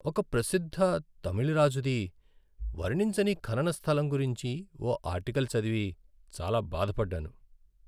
ఒక ప్రసిద్ధ తమిళ రాజుది వర్ణించని ఖనన స్థలం గురించి ఓ ఆర్టికల్ చదివి చాలా బాధపడ్డాను.